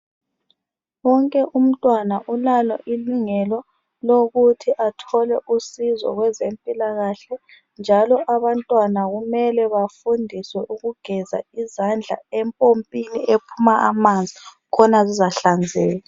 Wonke umntwana ulalo ilungelo lokuthi athole usizo kwezempilakahle, njalo abantwana kumele bafundiswe ukugeza izandla empompini ephuma amanzi, khona zizahlanzeka.